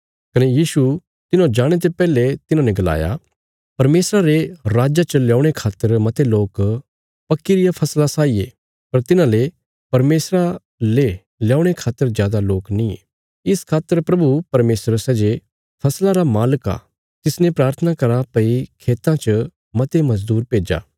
कने यीशु तिन्हौं जाणे ते पैहले तिन्हांने गलाया परमेशरा रे राज च ल्यौणे खातर मते लोक पक्की रिया फसला साई ये पर तिन्हांजो परमेशरा ले ल्यौणे खातर जादा लोक नींये इस खातर प्रभु परमेशर सै जे फसला रा मालिक आ तिसने प्राथना करा भई खेतां च मते मजदूर भेज्जा